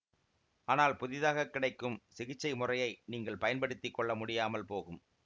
ஆனால் புதிதாக கிடைக்கும் சிகிச்சை முறையை நீங்கள் பயன் படுத்தி கொள்ள முடியாமல் போகும்